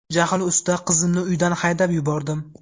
Jahl ustida qizimni uydan haydab yubordim.